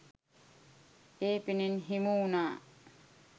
ඒ පිනෙන් හිමි වුණා.